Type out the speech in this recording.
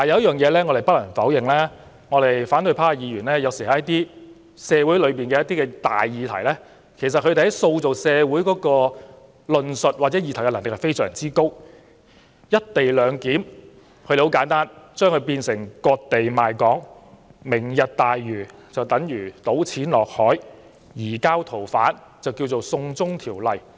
不過，有一點我們不能否認，就是在一些重大社會議題上，反對派議員塑造社會論述或議題的能力有時非常高，例如他們簡單地把"一地兩檢"說成"割地賣港"、"明日大嶼"等於"倒錢落海"，"移交逃犯"則改稱為"送中條例"。